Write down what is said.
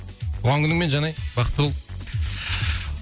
туған күніңмен жанай бақытты бол